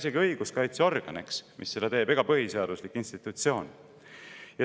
See ei ole isegi õiguskaitseorgan ega põhiseaduslik institutsioon, mis seda teeb.